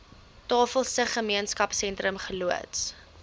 tafelsig gemeenskapsentrum geloods